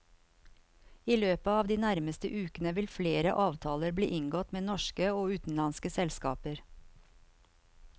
I løpet av de nærmeste ukene vil flere avtaler bli inngått med norske og utenlandske selskaper.